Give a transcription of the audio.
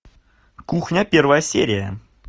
кухня первая серия